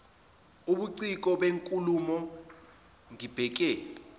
ubuciko benkulumo ngibheke